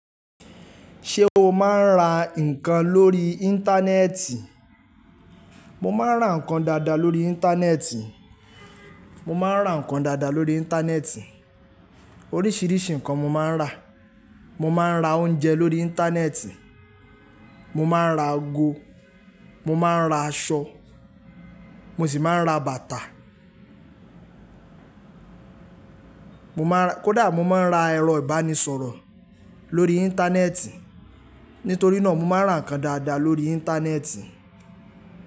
Ṣé o máa ń ra nǹkan lórí Íńtánẹ́ẹ̀tì. Mo máa ń rà nǹkan dada lórí Íńtánẹ́ẹ̀tì. Mo máa ń ra nǹkan dáadáa lórí Íńtánẹ́ẹ̀tì. Oríṣìíríṣi nǹkan mo máa ń rà. Mo máa ń ra oúnjẹ lórí Íńtánẹ́ẹ̀tì, mo máa ń ra ago, mo máa ń ra aṣọ, mo sì máa ń ra bàtà. Mo máa ń ra, kódà mo máa ń ra ẹ̀rọ ìbánisọ̀rọ̀ lórí Íńtánẹ́ẹ̀tì. Nítorí náà mo máa ń rà nǹkan dáada lórí Íńtánẹ́ẹ̀tì.